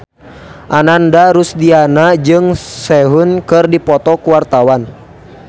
Ananda Rusdiana jeung Sehun keur dipoto ku wartawan